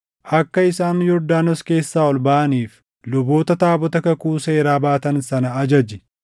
“Akka isaan Yordaanos keessaa ol baʼaniif luboota taabota kakuu seeraa baatan sana ajaji.”